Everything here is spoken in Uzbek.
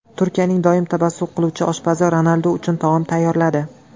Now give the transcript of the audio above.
Turkiyaning doim tabassum qiluvchi oshpazi Ronaldu uchun taom tayyorladi.